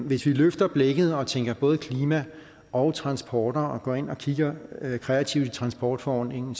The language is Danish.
hvis vi løfter blikket og tænker både klima og transport og går ind og kigger kreativt transportforordningen